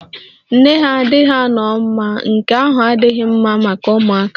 Nne ha adịghị ano ma nke ahụ adịghị mma maka ụmụaka